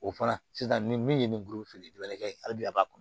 O fana sisan nin min ye nin filiman ye ali bi a b'a kɔnɔ